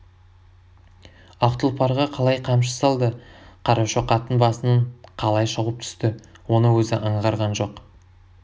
ақ тұлпарға қалай қамшы салды қарашоқаттың басынан қалай шауып түсті оны өзі аңғарған жоқ